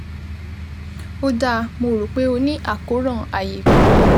Ó dáa, mo rò pé o ní àkóràn ààyé kan